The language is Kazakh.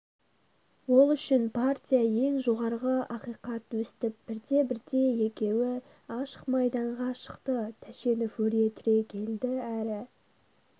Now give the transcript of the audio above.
ол үшін партия ең жоғарғы ақихат өстіп бірте-бірте екеуі ашық майданға шықты тәшенов өре түрегелді әрі